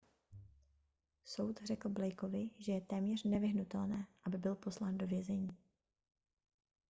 soud řekl blakeovi že je téměř nevyhnutelné aby byl poslán do vězení